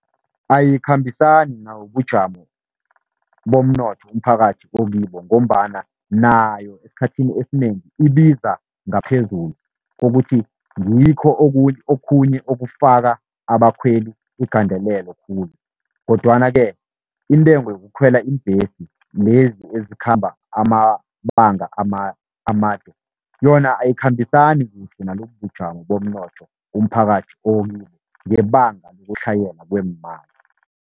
Ayikhambisani nobujamo bomnotho umphakathi okibo, ngombana nayo esikhathini esinengi ibiza ngaphezulu kokuthi ngikho okunye, okhunye okufaka abakhweli igandelelo khulu. Kodwana-ke intengo yokukhwela iimbhesi lezi ezikhamba amabanga amade, yona ayikhambisani kuhle nalobubujamo bomnotho umphakathi okibo, ngebanga lokutlhayela kweemali.